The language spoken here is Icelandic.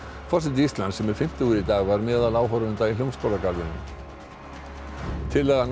forseti Íslands sem er fimmtugur í dag var meðal áhorfenda í Hljómskálarðinum tillaga